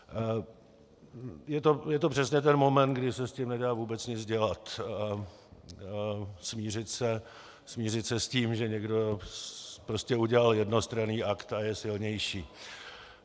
Je to přesně ten moment, kdy se s tím nedá vůbec nic dělat, smířit se s tím, že někdo prostě udělal jednostranný akt a je silnější.